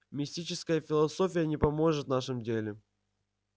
мистическая философия не поможет в нашем деле